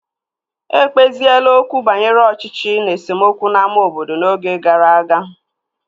Ekpeziela okwu banyere ọchịchị na esemokwu n'ámá obodo n'oge gara aga